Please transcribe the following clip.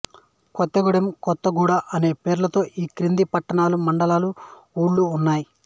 కొత్తగూడెం కొత్తగూడ అను పేర్లుతో ఈ క్రింది పట్టణాలుమండలాలు ఊళ్ళు ఉన్నాయి